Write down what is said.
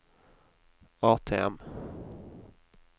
ATM